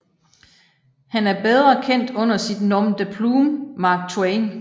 Han er bedre kendt under sit nom de plume Mark Twain